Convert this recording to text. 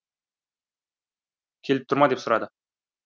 келіп тұр ма деп сұрады